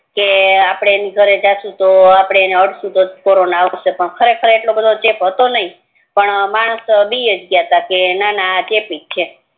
કે આપડે એને અડસું અપડે એના ઘરે જાઈસુ તો કોરોના આવસે પણ ખરેખર એટલો ચેપ હાતો નય પણ માણસ બીજ ગ્યા તા કે ના ના આ ચેપીજ છે